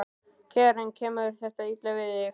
Karen: Kemur þetta illa við þig?